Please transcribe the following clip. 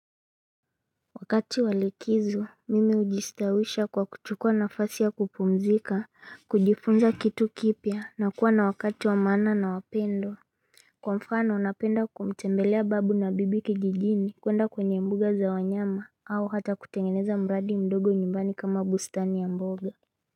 Wakati wa likizo mimi hujistawisha kwa kuchukua nafasi ya kupumzika kujifunza kitu kipya na kuwa na wakati wa maana na wapendwa Kwa mfano napenda kumtembelea babu na bibi kijijini kwenda kwenye mbuga za wanyama au hata kutengeneza mradi mdogo nyumbani kama bustani ya mboga.